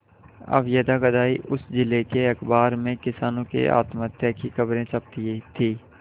अब यदाकदा ही उस जिले के अखबार में किसानों के आत्महत्या की खबरें छपती थी